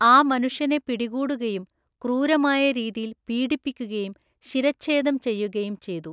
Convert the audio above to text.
ആ മനുഷ്യനെ പിടികൂടുകയും ക്രൂരമായ രീതിയിൽ പീഡിപ്പിക്കുകയും ശിരഛേദം ചെയ്യുകയും ചെയ്തു.